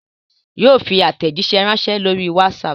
Yóò fi aàtẹ̀jíṣé ránsẹ́ lórí WhatsApp